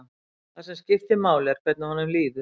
Það sem skiptir máli er hvernig honum líður.